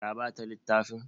Ka ba ta littafin?